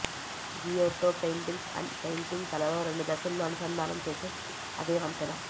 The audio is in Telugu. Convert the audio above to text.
గియోట్టో పెయింటింగ్స్ అండ్ పెయింటింగ్ కళలో రెండు దశల్లో అనుసంధానం చేసే అదే వంతెన